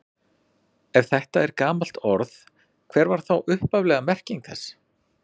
Ef þetta er gamalt orð, hver var þá upphafleg merking þess?